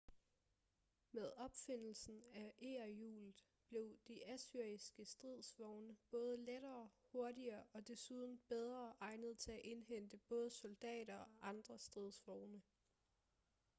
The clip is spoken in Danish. med opfindelsen af egerhjulet blev de assyriske stridsvogne både lettere hurtigere og desuden bedre egnet til at indhente både soldater og andre stridsvogne